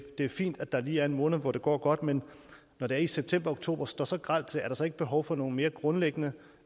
er fint at der lige er en måned hvor det går godt men når det i september og oktober står så grelt til er der så ikke behov for nogle mere grundlæggende